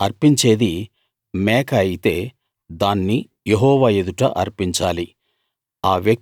అతడు అర్పించేది మేక అయితే దాన్ని యెహోవా ఎదుట అర్పించాలి